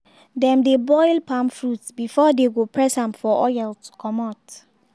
dem dey boil palm fruits before dey go press am for oil to comot.